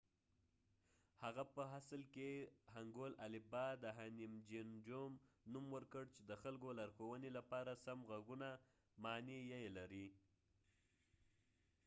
هغه په اصل کې هنګول الفبا د هنیمجینجوم نوم ورکړ چې د خلکو لارښوونې لپاره سم غږونه معنی یې لري